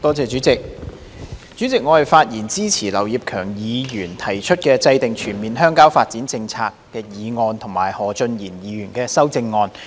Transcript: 代理主席，我發言支持劉業強議員"制訂全面鄉郊發展政策"的議案及何俊賢議員的修正案。